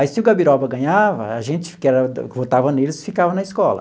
Aí se o Gabiroba ganhava, a gente que era votava neles ficava na escola.